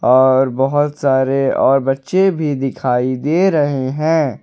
और बहुत सारे और बच्चे भी दिखाई दे रहे हैं।